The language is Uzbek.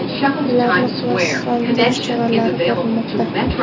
Ularni qurolsizlantirish choralari ko‘rilmoqda.